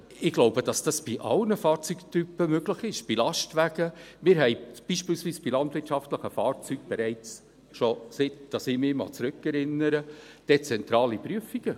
Ich glaube, dass dies bei allen Fahrzeugtypen möglich ist, bei Lastwägen … Wir haben beispielsweise bei landwirtschaftlichen Fahrzeugen bereits dezentrale Prüfungen, seit ich mich zurückerinnern kann.